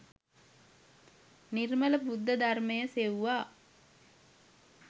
නිර්මල බුද්ධ ධර්මය සෙව්වා.